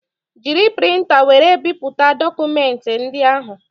Jiri printa wéré bipụta dokumenti ndị ahụ